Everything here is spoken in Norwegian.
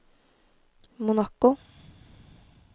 Monaco